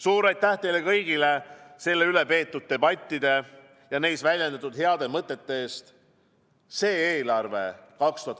Suur aitäh teile kõigile selle üle peetud debattide ja neis väljendatud heade mõtete eest!